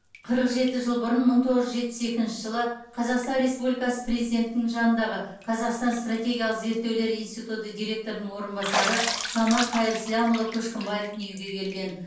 қырық жеті жыл бұрын мың тоғыз жүз жетпіс екінші қазақстан республикасы президентінің жанындағы қазақстан стратегиялық зерттеулер институты директорының орынбасары санат қайырсламұлы көшкімбаев дүниеге келген